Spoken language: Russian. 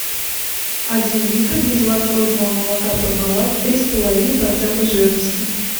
один литр безлактозного молока пармалат три с половиной процента жирности